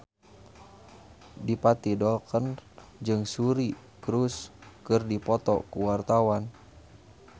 Adipati Dolken jeung Suri Cruise keur dipoto ku wartawan